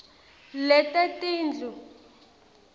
letetindlu